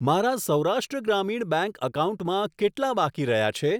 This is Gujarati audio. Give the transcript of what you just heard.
મારા સૌરાષ્ટ્ર ગ્રામીણ બેંક એકાઉન્ટમાં કેટલા બાકી રહ્યા છે?